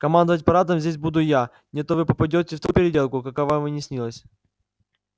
командовать парадом здесь буду я не то вы попадёте в такую переделку какая вам и не снилась